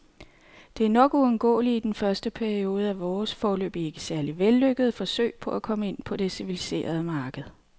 Det er nok uundgåeligt i den første periode af vores, foreløbig ikke særlig vellykkede, forsøg på at komme ind på det civiliserede marked.